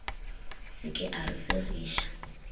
se ke a re segiša